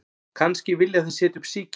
Kannski vilja þeir setja upp síki